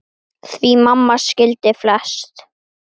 Því mamma skildi flest.